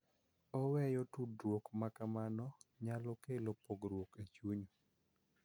Oweyo tudruok ma kamano nyalo kelo pogruok e chuny